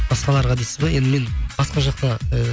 басқаларға дейсіз бе енді мен басқа жақта і